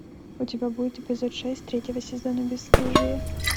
у тебя будет эпизод шесть третьего сезона бесстыжие